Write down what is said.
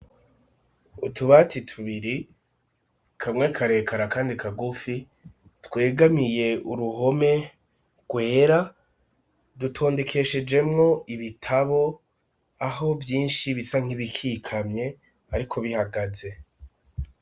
Utubati tubiri kamwe karekare kandi kagufi twegamiye uruhome rwera dutondekeshejemwo ibitabo aho vyinshi bisa nk'ibikikamye ariko bihagaze.